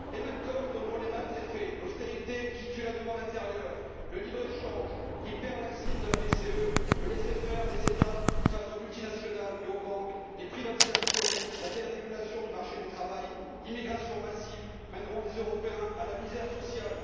Les mêmes causes donneront les mêmes effets l'austérité qui tue la demande intérieure, le libre échange, l'hyperlaxisme de la BCE, le laisser faire des États face aux multinationales et aux banques, les privatisations, la dérégulation du marché du travail, l'immigration massive mèneront les Européens à la misère sociale.